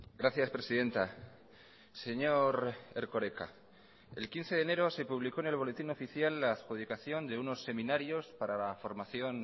gracias presidenta señor erkoreka el quince de enero se publicó en el boletín oficial la adjudicación de unos seminarios para la formación